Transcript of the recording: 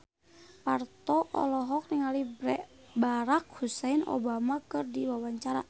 Parto olohok ningali Barack Hussein Obama keur diwawancara